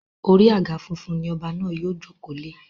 Orí àga funfun ni ọba náà yóò jòkó lé.